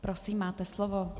Prosím, máte slovo.